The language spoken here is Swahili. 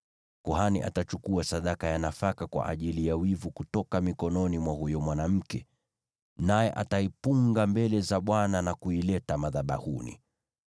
Kuhani atachukua sadaka ya nafaka kwa ajili ya wivu kutoka mikononi mwa huyo mwanamke, naye ataipunga mbele za Bwana na kuileta madhabahuni.